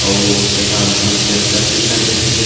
अउ एहा बहुत ही अच्छा सुविधा देथे।